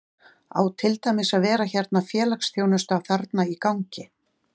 Á til dæmis að vera hérna félagsþjónusta þarna í gangi?